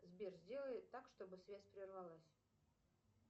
сбер сделай так чтобы связь прервалась